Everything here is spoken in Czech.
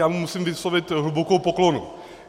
Já mu musím vyslovit hlubokou poklonu.